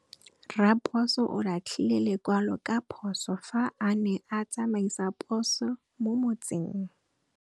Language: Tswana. Raposo o latlhie lekwalô ka phosô fa a ne a tsamaisa poso mo motseng.